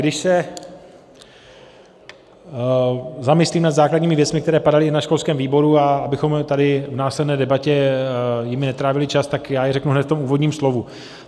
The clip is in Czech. Když se zamyslím nad základními věcmi, které padaly na školském výboru, a abychom tady v následné debatě jimi netrávili čas, tak já je řeknu hned v tom úvodním slovu.